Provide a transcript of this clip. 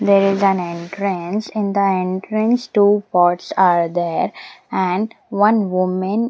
There is an entrance in the entrance two pots are there and one woman --